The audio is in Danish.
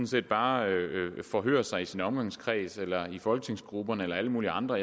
set bare forhøre sig i sin omgangskreds eller i folketingsgrupperne eller alle mulige andre